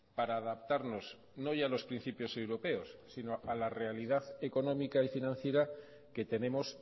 para adaptarnos no ya a los principios europeos sino a la realidad económica y financiera que tenemos